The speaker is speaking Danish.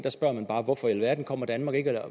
hvor man bare spørger hvorfor i alverden kommer danmark ikke